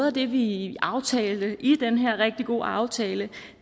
af det vi aftalte i den her rigtig gode aftale